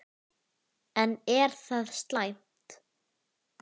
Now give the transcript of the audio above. En er það slæmt?